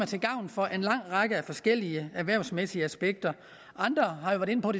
til gavn for en lang række forskellige erhvervsmæssige aspekter andre har